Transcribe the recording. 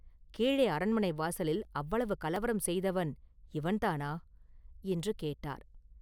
கீழே அரண்மனை வாசலில் அவ்வளவு கலவரம் செய்தவன் இவன்தானா?” என்று கேட்டார்.